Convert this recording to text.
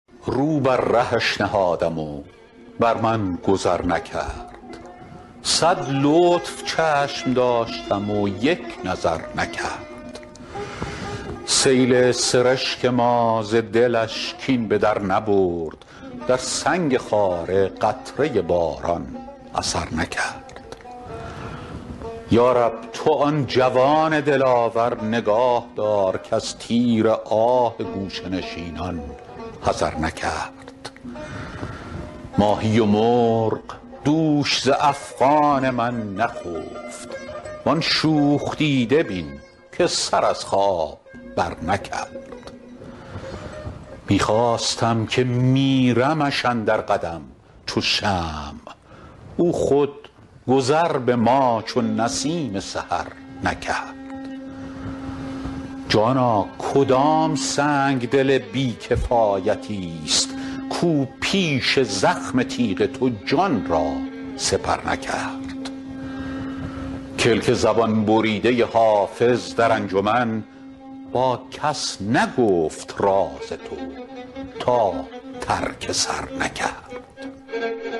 رو بر رهش نهادم و بر من گذر نکرد صد لطف چشم داشتم و یک نظر نکرد سیل سرشک ما ز دلش کین به در نبرد در سنگ خاره قطره باران اثر نکرد یا رب تو آن جوان دلاور نگاه دار کز تیر آه گوشه نشینان حذر نکرد ماهی و مرغ دوش ز افغان من نخفت وان شوخ دیده بین که سر از خواب برنکرد می خواستم که میرمش اندر قدم چو شمع او خود گذر به ما چو نسیم سحر نکرد جانا کدام سنگدل بی کفایت است کاو پیش زخم تیغ تو جان را سپر نکرد کلک زبان بریده حافظ در انجمن با کس نگفت راز تو تا ترک سر نکرد